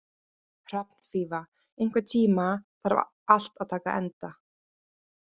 Hrafnfífa, einhvern tímann þarf allt að taka enda.